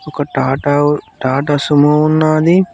ఒక టాటావు టాటా సుమో ఉన్నాది.